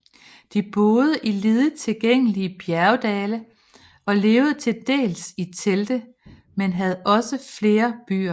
De boede i lidet tilgængelige bjergdale og levede til dels i telte men havde også flere byer